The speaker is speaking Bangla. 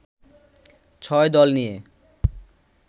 ৬ দল নিয়ে